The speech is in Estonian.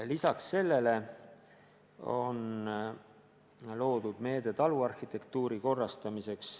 Lisaks sellele on loodud meede taluarhitektuuri korrastamiseks.